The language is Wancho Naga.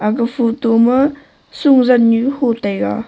aga photo ma su zan nu hu taiga.